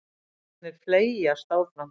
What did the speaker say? Dagarnir fleygjast áfram.